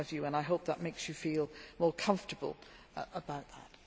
I hope that makes you feel more comfortable about that.